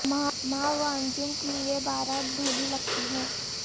ماہ و انجم کی یہ بارات بھلی لگتی ہے